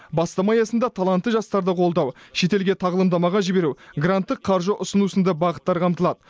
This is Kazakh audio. бастама аясында талантты жастарды қолдау шетелге тағылымдамаға жіберу гранттық қаржы ұсыну сынды бағыттар қамтылады